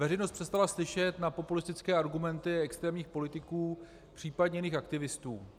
Veřejnost přestala slyšet na populistické argumenty extrémních politiků, příp. jiných aktivistů.